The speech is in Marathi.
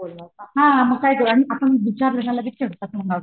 हा मग विचारलं की चिडतात